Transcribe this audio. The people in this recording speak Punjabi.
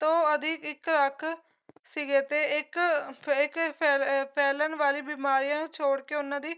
ਤੋਂ ਅਧਿਕ ਇੱਕ ਲੱਖ ਸੀਗੇ ਤੇ ਏ ਇੱਕ ਅਹ ਇੱਕ ਫੈ ਫੈਲਣ ਵਾਲੀ ਬਿਮਾਰੀਆਂ ਨੂੰ ਛੋੜਕੇ ਉਹਨਾਂ ਦੀ